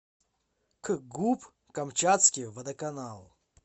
кгуп камчатский водоканал